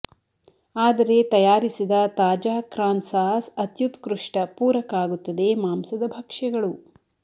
ಆದರೆ ತಯಾರಿಸಿದ ತಾಜಾ ಕ್ರಾನ್ ಸಾಸ್ ಅತ್ಯುತ್ಕೃಷ್ಟ ಪೂರಕ ಆಗುತ್ತದೆ ಮಾಂಸದ ಭಕ್ಷ್ಯಗಳು